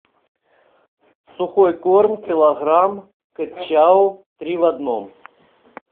сухой корм килограмм кэт чау три в одном